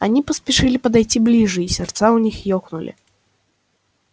они поспешили подойти ближе и сердца у них ёкнули